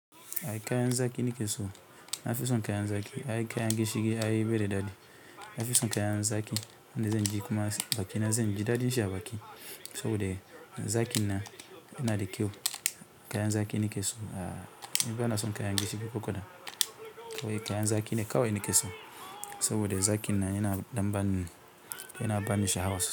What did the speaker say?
Ai kayan zaƙi nake so. Na fi son kayan zaƙi. Ai kayan gishiri ai bai da daɗi. Nafi son kayan zaƙi da zan ji kuma baki na zan ji daɗin shi a baki saboda zaƙin nan yana da kyau. Kayan zaƙi nake so. A'a, ni bana son kayan gishiri ko kaɗan. Kawai kayan zaƙi ne kawai nake so saboda zaƙin nan yana ɗan ban--yana ba ni sha'awa.